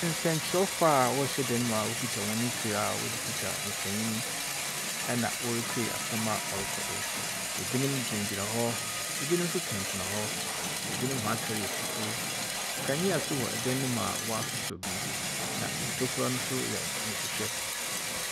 Nsɛmkyerɛwfo a wɔhyɛ dan mu a wokita mfir a wɔde twitwa mfonyi na wɔretse nsɛm a ɔrokɔ do. Ebinom gyinagyina hɔ. Ebinom nso tenatena hɔ. Ebinom nso hɔn atar yɛ fufuw. Nkanea nso wɔ dan no mu a, wɔasosɔ bi. Na ntokua nso yɛ nhwehwɛ.